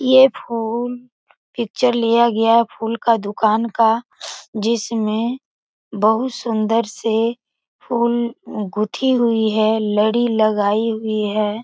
ये फूल पिक्चर लिया गया है फूल का दुकान का जिसमे बहुत सुन्दर से फूल गुथी हुई है लड़ी लगाई हुई है।